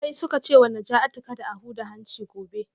Sai suka ce wa Najatu kada a huda hanci gobe